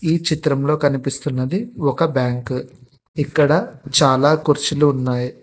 ఈ చిత్రంలో కనిపిస్తున్నది ఒక బ్యాంక్ ఇక్కడ చాలా కుర్చీలు ఉన్నాయి.